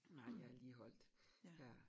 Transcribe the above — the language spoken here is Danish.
Nej jeg er lige holdt ja